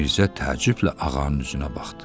Mirzə təəccüblə ağanın üzünə baxdı.